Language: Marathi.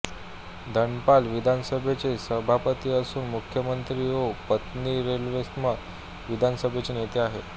धनपाल विधानसभेचे सभापती असून मुख्यमंत्री ओ पन्नीरसेल्वम हे विधानसभेचे नेते आहेत